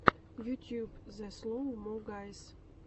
ютюб зе слоу мо гайз